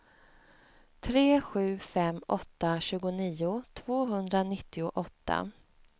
tre sju fem åtta tjugonio tvåhundranittioåtta